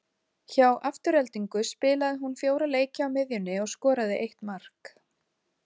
Hjá Aftureldingu spilaði hún fjóra leiki á miðjunni og skoraði eitt mark.